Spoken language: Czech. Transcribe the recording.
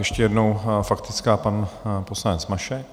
Ještě jednou faktická - pan poslanec Mašek.